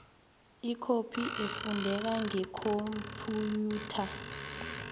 ikhophi efundeka ngekhomphiyutha